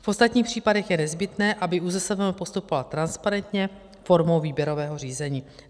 V ostatních případech je nezbytné, aby ÚZSVM postupoval transparentně formou výběrového řízení.